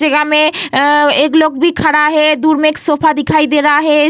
जगह में अ अ एक लोग भी खड़ा है दूर में एक सोफा दिखाई दे रहा है।